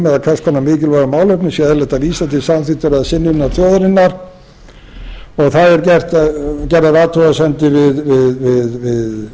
konar mikilvæg málefnum sé eðlilegt að vísa til samþykktar eða synjunar þjóðarinnar og það eru gerðar athugasemdir við